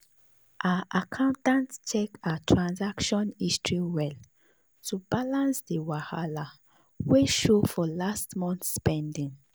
her accountant check her transaction history well to balance the wahala wey show for last month spending.